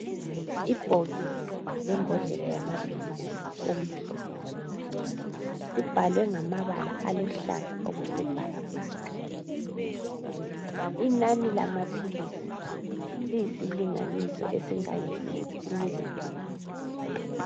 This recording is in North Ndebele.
Ibhokisi lembodlela yamaphilisi okumhlophe. Kubhalwe ngamabala aluhlaza okwesibhakabhaka, inani lamaphilisi liyisilinganiso esingange six milligrams.